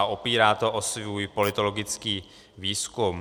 A opírá to o svůj politologický výzkum.